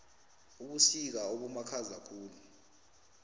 ubusika obumakhaza khulu